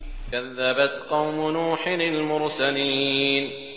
كَذَّبَتْ قَوْمُ نُوحٍ الْمُرْسَلِينَ